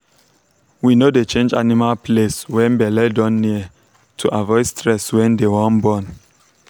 we no dey change animal place when belle don near to avoid stress when they wan born.